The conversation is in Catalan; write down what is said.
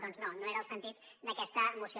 doncs no no era el sentit d’aquesta moció